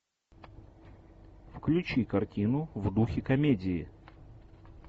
включи картину в духе комедии